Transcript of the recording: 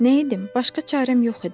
Nə edim, başqa çarəm yox idi.